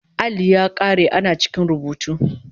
Alli ya kare ana cikin rubutu